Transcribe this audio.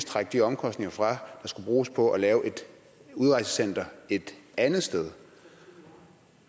trække de omkostninger fra der skulle bruges på at lave et udrejsecenter et andet sted